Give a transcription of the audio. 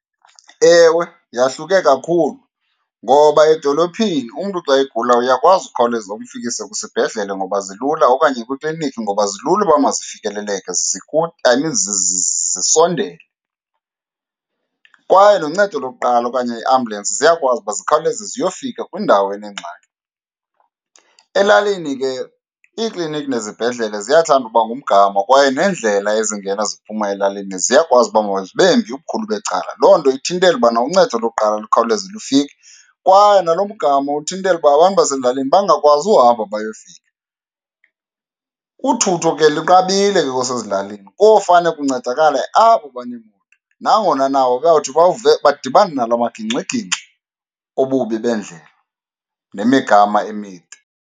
Ewe, yahluke kakhulu. Ngoba edolophini umntu xa egula uyakwazi ukhawuleza umfikise kwisibhedlele ngoba zilula, okanye kwikliniki ngoba zilula uba mazifikeleleke I mean zisondele. Kwaye noncedo lokuqala okanye iiambulensi ziyakwazi uba zikhawuleze ziyofika kwindawo enengxaki. Elalini ke iiklinikhi nezibhedlele ziyathanda uba ngumgama kwaye neendlela ezingena ziphuma elalini ziyakwazi uba mazibe mbi ubukhulu becala. Loo nto ithintela ubana uncedo lokuqala lukhawuleze lufike, kwaye nalo mgama uthintela uba abantu basezilalini bangakwazi uhamba bayofika. Uthutho ke lunqabile ke xa usezilalini. Kofane kuncedakale abo baneemoto, nangona nabo bayawuthi badibane nala magingxigingxi obubi bendlela nemigama emide.